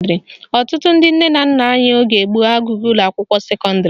Ọtụtụ ndị nne na nna anyị oge gboo agụghị ụlọakwụkwọ sekọndịrị